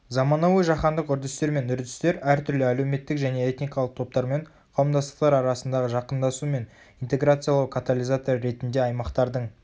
заманауи жаһандық үрдістер мен үрдістер әртүрлі әлеуметтік және этникалық топтар мен қауымдастықтар арасындағы жақындасу мен интеграциялау катализаторы ретінде аймақтардың